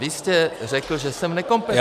Vy jste řekl, že jsem nekompetentní -